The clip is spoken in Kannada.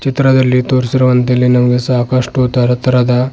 ಚಿತ್ರದಲ್ಲಿ ತೋರಿಸಿರುವಂತೆ ಇಲ್ಲಿ ನಮಗೆ ಸಾಕಷ್ಟು ತರತರಹದ--